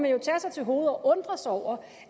jo tage sig til hovedet og undre sig over